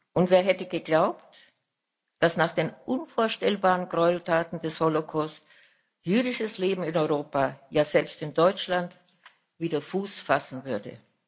Und wer hätte geglaubt, dass nach den unvorstellbaren Gräueltaten des Holocaust jüdisches Leben in Europa, ja selbst in Deutschland wieder Fuß fassen würde?